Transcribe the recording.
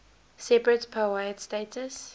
separate powiat status